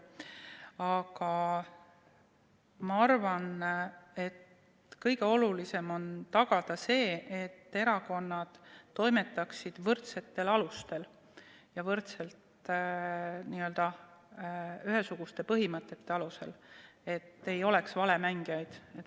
Aga ma arvan, et kõige olulisem on tagada see, et erakonnad toimetaksid võrdsetel alustel ja ühesuguste põhimõtete alusel, nii et ei oleks valemängijaid.